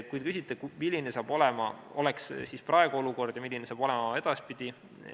Te küsite, milline oleks siis praegu olukord ja milline saab see olema edaspidi.